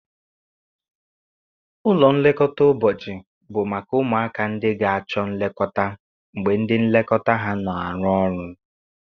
Ụlọ nlekọta ụbọchị bụ maka ụmụaka ndị ga-achọ nlekọta mgbe ndị nlekọta ha na-arụ ọrụ